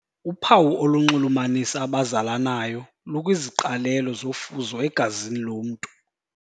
Uphawu olunxulumanisa abazalanayo lukwiziqalelo zofuzo egazini lomntu.